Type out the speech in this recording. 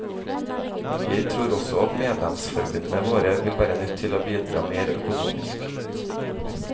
Jeg tror også at medlemsforbundene våre vil være nødt til å bidra mer økonomisk.